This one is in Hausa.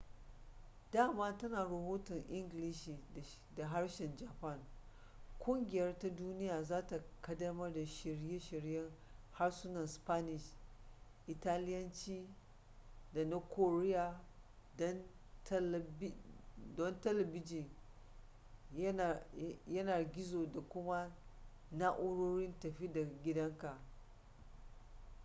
dama tana rahoto a ingilishi da harshen japan ƙungiyar ta duniya za ta ƙaddamar da shirye-shiryen harsunan spanish italiyanci da na koriya don talabijin yanar-gizo da kuma na'urorin tafi-da-gidanka